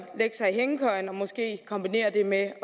lægge sig i hængekøjen og måske kombinere det med